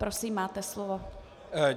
Prosím, máte slovo.